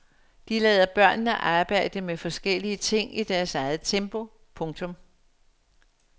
De lader børnene arbejde med forskellige ting i deres eget tempo. punktum